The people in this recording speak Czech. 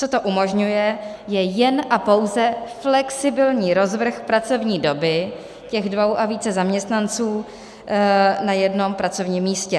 Co to umožňuje, je jen a pouze flexibilní rozvrh pracovní doby těch dvou a více zaměstnanců na jednom pracovním místě.